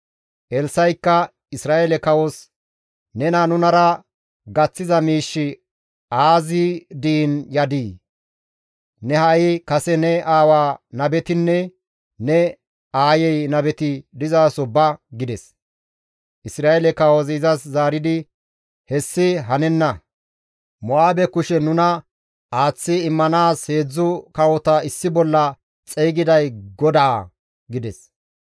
Elssa7ikka Isra7eele kawos, «Nena nunara gaththiza miishshi aazi diin yadii? Ne ha7i kase ne aawa nabetinne ne aayey nabeti dizaso ba» gides. Isra7eele kawozi izas zaaridi, «Hessi hanenna; Mo7aabe kushen nuna aaththi immanaas heedzdzu kawota issi bolla xeygiday GODAA» gides.